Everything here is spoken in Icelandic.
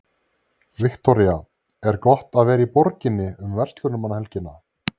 Viktoría: Er gott að vera í borginni um verslunarmannahelgina?